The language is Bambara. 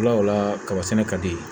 Bila o la kaba sɛnɛ ka di yen